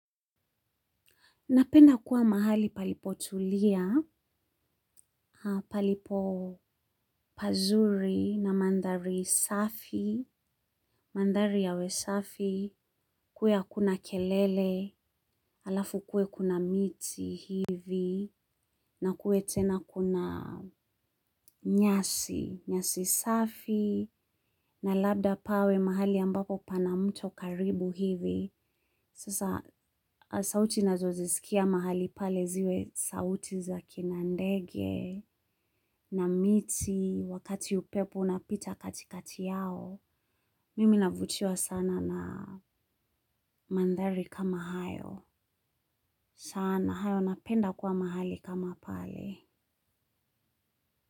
Napenda kuwa mahali palipo tulia, palipo pazuri na mandhari safi, mandhari yawe safi, kuwe hakuna kelele, halafu kuwe kuna miti hivi, na kuwe tena kuna nyasi, nyasi safi, na labda pawe mahali ambapo pana mto karibu hivi. Sasa, sauti nazozisikia mahali pale ziwe sauti za kinandege na miti, wakati upepo unapita katikati yao. Mimi navutiwa sana na mandhari kama hayo. Sana, hayo napenda kwa mahali kama pale.